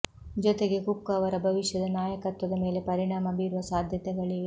ಜೊತೆಗೆ ಕುಕ್ ಅವರ ಭವಿಷ್ಯದ ನಾಯಕತ್ವದ ಮೇಲೆ ಪರಿಣಾಮ ಬೀರುವ ಸಾಧ್ಯತೆಗಳಿವೆ